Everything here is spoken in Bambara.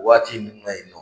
Waati min na yen nɔ